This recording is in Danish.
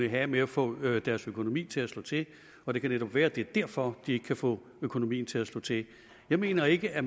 have med at få deres økonomi til at slå til og det kan netop være at det er derfor de ikke kan få økonomien til at slå til jeg mener ikke at